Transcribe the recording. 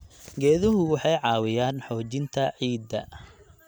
Geeduhu waxay caawiyaan xoojinta ciidda.